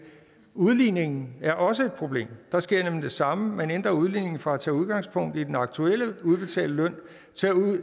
udligningen er også et problem der sker nemlig det samme man ændrer udligningen fra at tage udgangspunkt i den aktuelle udbetalte løn